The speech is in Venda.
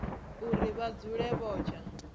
uri vha dzule vho tsha